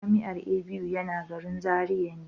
Jami'ar ABU yana garin Zaria ne.